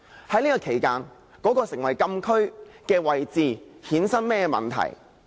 在這期間，那個成為禁區的位置會衍生甚麼問題？